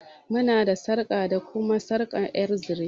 Muna da sarƙa da kuma sarƙa ƴar zire.